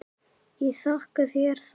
Ég þakka þér það.